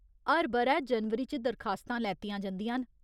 हर ब'रै जनवरी च दरखास्तां लैतियां जंदियां न।